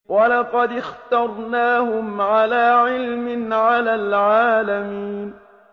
وَلَقَدِ اخْتَرْنَاهُمْ عَلَىٰ عِلْمٍ عَلَى الْعَالَمِينَ